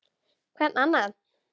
Hvern annan!